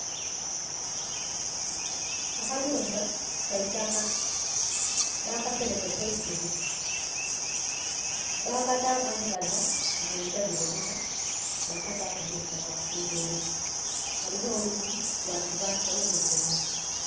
Akayumba kaitakka. Bakaserekesa eisubi. Bakataamu engadha munda dhi boneka bakataaku neitakka kungulu. Kalina olwijji lwa kibaati waliwo ne kidomola.